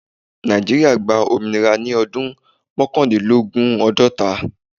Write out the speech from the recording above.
Nàìjíríà gba ominira ni ọdun mọkandinlogun- ọgọta.